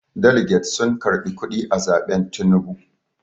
daliget sun karɓi kuɗi a zaɓen Tinubu